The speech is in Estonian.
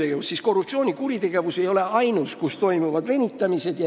Ega siis ainult korruptsioonikuritegude puhul ei toimu need venitamised.